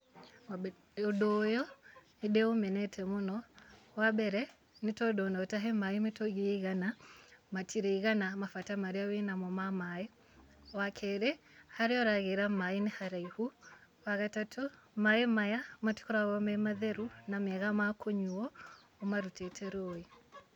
Wambe ũndũ ũyũ, nĩndĩũmenete mũno, wambere nĩ tondũ ona ũtahe maĩ mĩtungi ĩigana, matirĩigana mabata marĩa wĩnamo ma maĩ, wa kerĩ, harĩa ũragĩra maĩ nĩ haraihu, wa gatatũ, maĩ maya matikoragwo me matheru na mega ma kũnyuo, ũmarutĩte rũĩ.